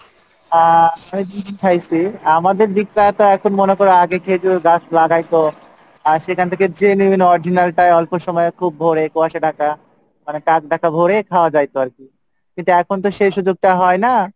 আহ খাইসি, আমাদের দিক টা তো এখন মনে করো আগে খেজুরের গাছ লাগাইতো আহ সেখান থেকে genuine original টাই অল্প সময়ে খুব ভোরে কুয়াশা ঢাকা মানে কাক ডাকা ভোরে খাওয়া যাইতো আর কী কিন্তু এখন তো সেই সুযোগ টা হয়না,